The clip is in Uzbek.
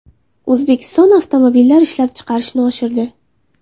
O‘zbekiston avtomobillar ishlab chiqarishni oshirdi.